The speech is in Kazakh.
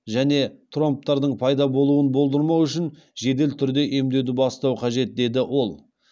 және тромбтардың пайда болуын болдырмау үшін жедел түрде емдеуді бастау қажет деді ол